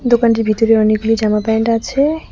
দোকানটির ভিতরে অনেকগুলি জামাপ্যান্ট আছে।